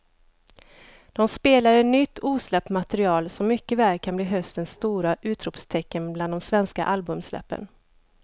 De spelade nytt osläppt material som mycket väl kan bli höstens stora utropstecken bland de svenska albumsläppen.